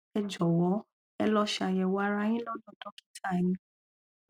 ẹ jọwọ ẹ lọ ṣàyẹwò ara yín lọdọ dọkítà yín